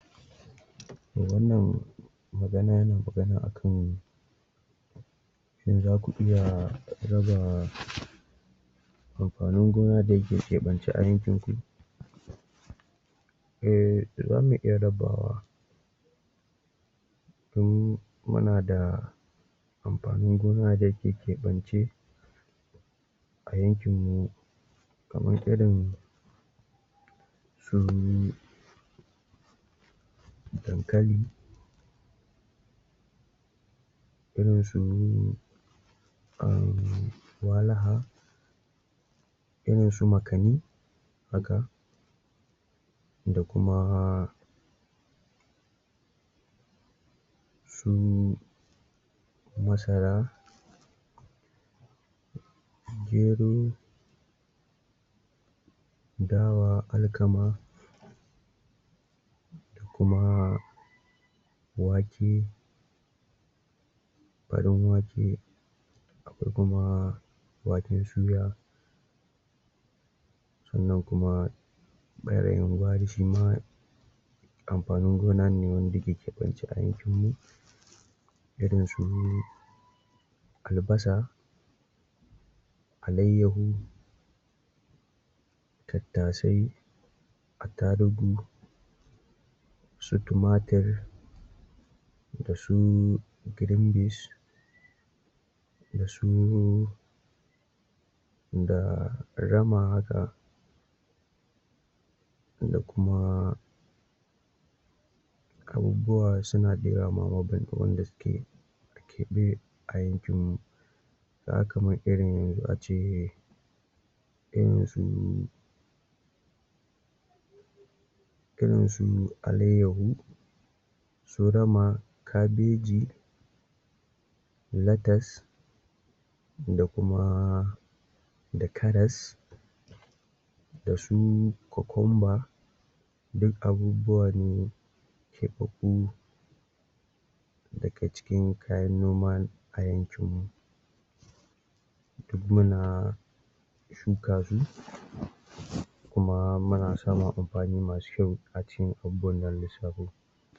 to wannan magana akan in zaku iya rabawa amfanin gona da yake keɓance a yankin ku eh zamu iya rabawa in muna da amfanin gona da yake keɓance a yankin mu kamar irin su dankali irin su umm walaha irin su makani haka da kuma su masara gero dawa, alkama da kuma wake farin wake akwai kuma waken suya sannan kuma ɓarayin gwari shi ma amfanin gona ne wanda ke keɓanci aikinmu irin su albasa alayyahu tattasai atarugu su tumatir da su green beans da su da rama haka da kuma suna da yawa kamar gaske keɓe a yankin mu ka ga kamar irin ace irin su irin su alayyahu su rama kabeji latas da kuma da karas da su kukumba duk abubuwa ne keɓaɓɓu daga cikin kayan noma a yankin mu duk muna shuka su kuma muna samun amfani masu kyau a cikin abubuwan da na lissafo.